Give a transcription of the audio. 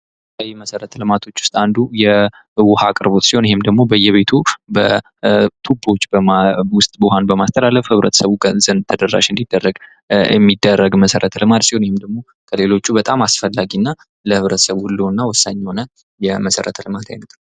የመሠረተ ልማቶች ዉስጥ አንዱ የውሀ አቅርቦት ሲሆን ይኸም ደግሞ በየቤቱ በቱቦዎች ውስጥ ውሀን በማስተላለፍ ህብረተሰቡ ጋር ተደራሽ እንዲደረግ መሠረተ ልማት ሲሆን ከሌሎቹበጣም አስፈላጊ የሆነ እና ለህብረተሰቡ ህልውና ወሳኝ የሆነ መሠረተ ልማት ነው